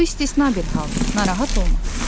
Bu istisna bir haldır, narahat olma.